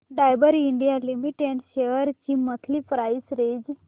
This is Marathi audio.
डाबर इंडिया लिमिटेड शेअर्स ची मंथली प्राइस रेंज